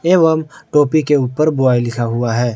एवं टोपी के ऊपर बाय लिखा हुआ है।